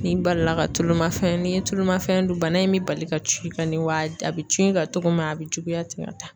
Ni balila ka tulu mafɛn, n'i ye tulu mafɛn dun bana in bɛ bali ka cun i ka ne, wa a bɛ cun i kan cogo min a bɛ juguya ten ka taa.